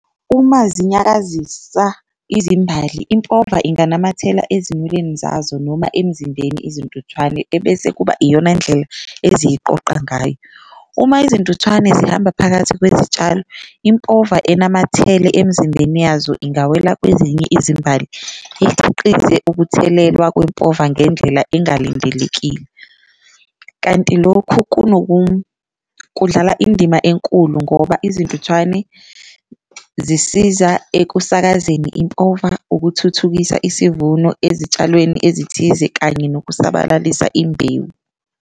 Uma zinyakazisa izimbali impova inganamathela ezinweleni zazo noma emzimbeni izintuthwane ebese kuba iyona ndlela eziyiqoqa ngayo, uma izintuthwane zihamba phakathi kwezitshalo impova enamathele emizimbeni yazo ingawela kwezinye izimbali ikhiqize ukuthelelwa kwempova ngendlela engalindelekile. Kanti lokhu kudlala indima enkulu ngoba izintuthwane zisiza ekusakazekeni impova, ukuthuthukisa isivuno ezitshalweni ezithize kanye nokusabalalisa imbewu.